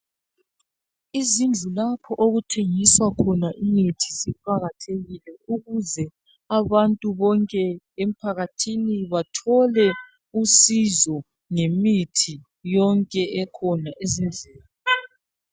Izindlu lapho okuthengiswa khona imithi ziqakathekile ukuze abantu bonke emphakathini bathole usizo ngemithi yonke ekhona ezindlini.